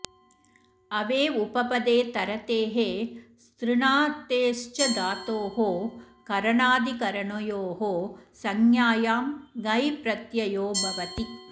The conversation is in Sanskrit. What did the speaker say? अवे उपपदे तरतेः स्तृणातेश्च धातोः करनाधिकरणयोः संज्ञायाम् घञ् प्रत्ययो भवति